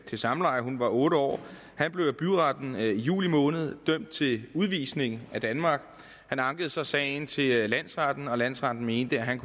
til samleje hun var otte år af byretten i juli måned dømt til udvisning af danmark han ankede så sagen til landsretten og landsretten mente at han